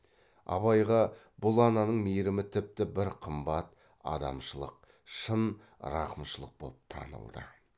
абайға бұл ананың мейрімі тіпті бір қымбат адамшылық шын рақымшылық боп танылды